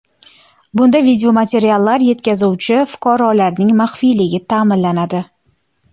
Bunda videomateriallar yetkazuvchi fuqarolarning maxfiyligi ta’minlanadi.